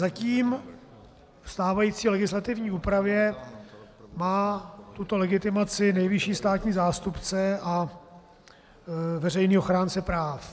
Zatím ve stávající legislativní úpravě má tuto legitimaci nejvyšší státní zástupce a veřejný ochránce práv.